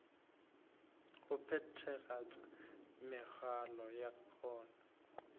go phethagatša mehola ya yona